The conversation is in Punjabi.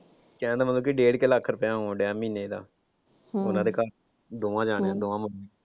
ਕਹਿਣ ਦਾ ਮਤਲਬ ਕਿ ਡੇਢ ਕੁ ਲੱਖ ਰੁਪਇਆ ਆਉਣ ਡਿਆ ਮਹੀਨੇ ਦਾ ਉਨ੍ਹਾਂ ਦੇ ਘਰ ਦੋਵਾਂ ਜਾਣਿਆ ਦਾ ਦੋਵਾਂ ਮੁੰਡਿਆਂ ਦਾ।